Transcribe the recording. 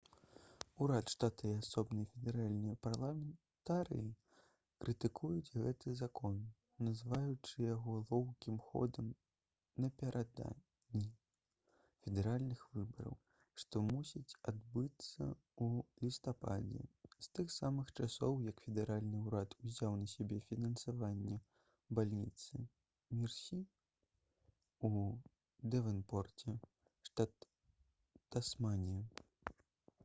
урад штата і асобныя федэральныя парламентарыі крытыкуюць гэты закон называючы яго лоўкім ходам напярэдадні федэральных выбараў што мусяць адбыцца ў лістападзе з тых самых часоў як федэральны ўрад узяў на сябе фінансаванне бальніцы мерсі ў дэвонпорце штат тасманія